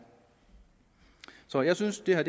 så jeg synes det her